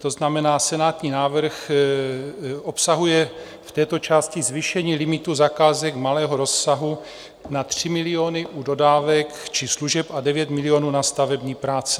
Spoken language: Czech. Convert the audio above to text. To znamená, senátní návrh obsahuje v této části zvýšení limitu zakázek malého rozsahu na 3 miliony u dodávek či služeb a 9 milionů na stavební práce.